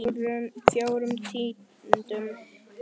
Fjórum tíundu?